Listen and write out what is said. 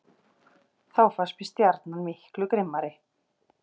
Þá fannst mér Stjarnan miklu grimmari.